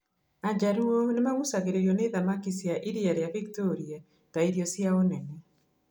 Ajaruo nĩ magucagĩrĩrio nĩ thamaki cia iria rĩa Victoria ta irio ciao nene.